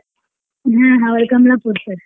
ಹಾ ಅವ್ಳ್ ಕಮ್ಲಾಪುರ್ sir .